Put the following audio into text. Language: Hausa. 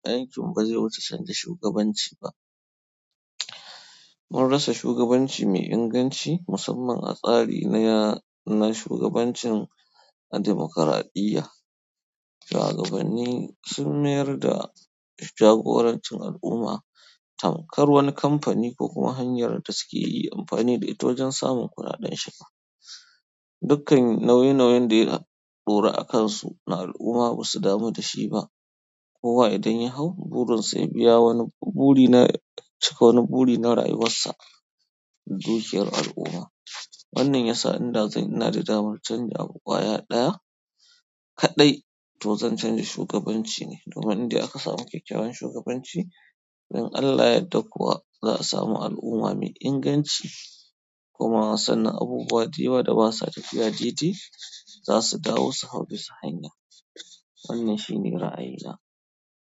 Aikin ba zai wuce canja shugabanci ba. Mun rasa shugabanci mai inganci musamman a tsari na ya-- na shugabancin dimokuradiyya, shugabanni sun mayar da jagorancin al'umma tamkar wani kamfani ko kuma hanyar da suke yi amfani da ita wajen samun kuɗaɗen shiga. Dukkan nauyi nauyin da ya ɗora a kansu na al'umma ba su damu da shi ba. Kowa idan ya hau burinsa ya biya wani buɗi na cika wani buɗi na rayuwarsa, da dukiyar al'umma. Wannan yasa inda zan ina da damar canza abu kwaya ɗaya kaɗai to zan canja shugabanci ne domin inde aka samu kyakkyawan shugabanci, to in Allah yadda kuwa za a samu al'umma mai inganci. Kuma sannan abubuwa da yawa da ba sa tafiya dede za su dawo su hau bisa hanya. Wannan shine ra'ayina.